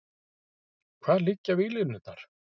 Hvar liggja víglínurnar?